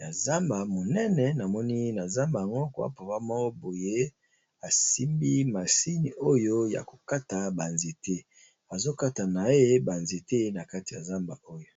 ya zamba monene, namoni na zamba ngo kwa papa moko boye asimbi masini oyo ya ko kata ba nzete. Azo kata na ye ba nzete na kati ya zamba oyo.